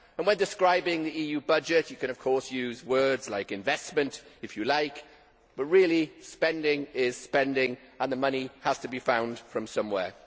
When describing the EU budget you can of course use words like investment', if you like, but really, spending is spending, and the money has to be found from somewhere.